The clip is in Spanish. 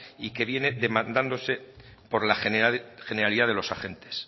y que viene demandándose por la generalidad de los agentes